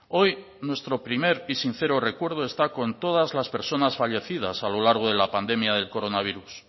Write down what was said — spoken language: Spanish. hoy nuestro primer y sincero recuerdo está con todas las personas fallecidas a lo largo de la pandemia del coronavirus